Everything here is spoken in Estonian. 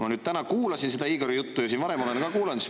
Ma nüüd täna kuulasin seda Igori juttu ja varem olen ka kuulanud.